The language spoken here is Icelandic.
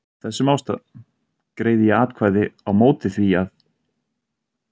Af þessum ástæðum greiði ég atkvæði á móti því, að